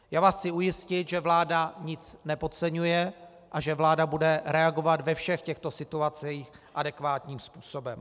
Já vás chci ujistit, že vláda nic nepodceňuje a že vláda bude reagovat ve všech těchto situacích adekvátním způsobem.